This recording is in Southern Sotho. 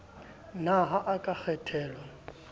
na ha o ka kgethelwa